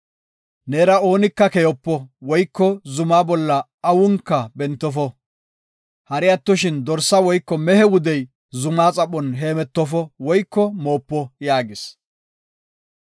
Neera oonika keyopo woyko zumaa bolla awunka bentofo. Hari attoshin dorsa woyko mehe wudey zumaa xaphon heemetofo woyko moopo” yaagis.